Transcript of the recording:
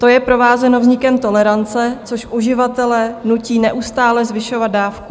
To je provázeno vznikem tolerance, což uživatele nutí neustále zvyšovat dávku.